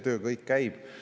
Nii et kõik see töö käib.